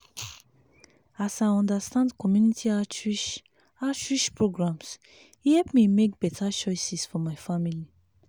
as i understand community outreach outreach programs e help me make better choices for my family.